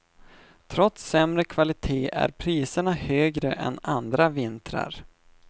Trots sämre kvalitet är priserna högre än andra vintrar.